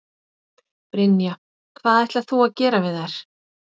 Brynja: Hvað ætlar þú að gera við þær?